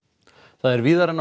það er víðar en á